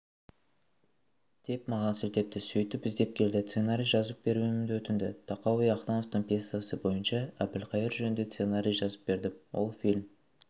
деп маған сілтепті сөйтіп іздеп келді сценарий жазып беруімді өтінді тахауи ахтановтың пьесасы бойынша әбілқайыр жөнінде сценарий жазып бердім ол фильм